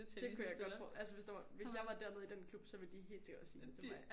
Det kun jeg godt for altså hvis der var hvis jeg var dernede i den klub så ville de helt sikkert også sige det til mig